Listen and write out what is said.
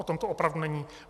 O tom to opravdu není.